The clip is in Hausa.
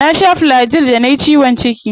Na sha Flagyl da nayi ciwon ciki.